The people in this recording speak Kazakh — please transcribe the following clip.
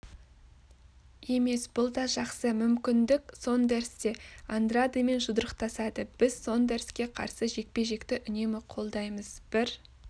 емес бұл дажақсы мүмкіндік сондерс те андрадемен жұдырықтасады біз сондерске қарсы жекпе-жекті үнемі қолдаймыз бір